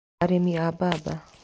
Arĩmi a mbamba.